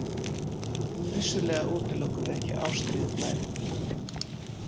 En vissulega útilokum við ekki ástríðuglæp.